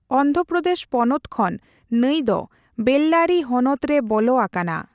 ᱚᱱᱫᱷᱨᱚ ᱯᱨᱚᱫᱮᱥ ᱯᱚᱱᱚᱛ ᱠᱷᱚᱱ ᱱᱟᱹᱭ ᱫᱚ ᱵᱮᱞᱞᱟᱨᱤ ᱦᱚᱱᱚᱛ ᱨᱮ ᱵᱚᱞᱚ ᱟᱠᱟᱱᱟ ᱾